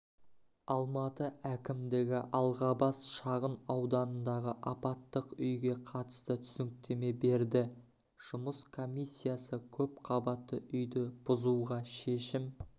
алматы әкімдігі алғабас шағын ауданындағы апаттық үйге қатысты түсініктеме берді жұмыс комиссиясы көпқабатты үйді бұзуға шешім